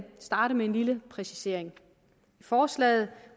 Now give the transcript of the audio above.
starte med en lille præcisering i forslaget